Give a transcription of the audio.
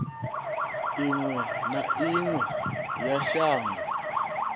iwe na iwe ya shango